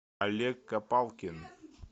олег копалкин